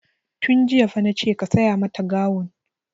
Tun jiya fa nace ka saya mata gawun!